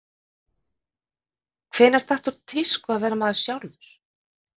Hvenær datt úr tísku að vera maður sjálfur?